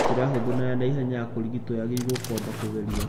Njĩra hũthũ na ya naihenya ya kũrigitwo yagĩrirwo kwamba kũgerio